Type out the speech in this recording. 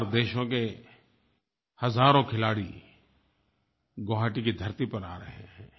SAARC देशों के हज़ारों खिलाड़ी गुवाहाटी की धरती पर आ रहे हैं